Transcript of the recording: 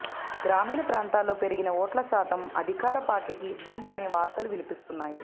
గ్రామీణ ప్రాంతాల్లో పెరిగిన ఓట్ల శాతం అధికార పార్టీకి ఇబ్బంది అనే వార్తలు వినిపిస్తున్నాయి